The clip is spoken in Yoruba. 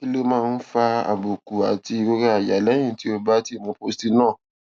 kí ló máa ń fa àbùkù àti ìrora àyà lẹyìn tó o bá ti mu postinor